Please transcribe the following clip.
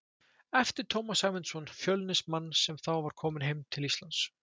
eftir Tómas Sæmundsson, Fjölnismann, sem þá var kominn heim til Íslands.